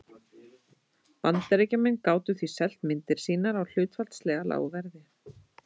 Bandaríkjamenn gátu því selt myndir sínar á hlutfallslega lágu verði.